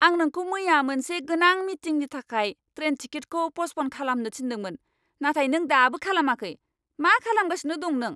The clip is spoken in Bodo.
आं नोंखौ मैया मोनसे गोनां मिटिंनि थाखाय ट्रेन टिकेटखौ पस्टप'न खालामनो थिन्दोंमोन, नाथाय नों दाबो खालामाखै, मा खालामगासिनो दं नों?